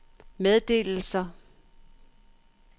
meddelelser